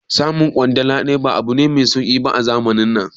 Samun kwandala daya ba abu ne mai sauki ba a zamanin nan